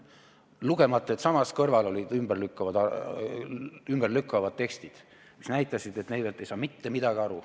Lugemata samas kõrval olevaid tekste, mis selle ümber lükkasid, näitasid, et Neivelt ei saa mitte midagi aru.